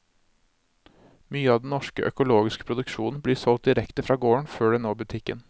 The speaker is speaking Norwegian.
Mye av den norske økologiske produksjonen blir solgt direkte fra gården før den når butikken.